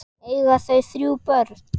Eiga þau þrjú börn.